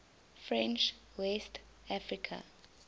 french west africa